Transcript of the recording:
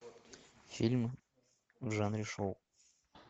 фильмы в жанре шоу